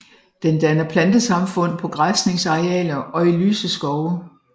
Den danner plantesamfund på græsningsarealer og i lyse skove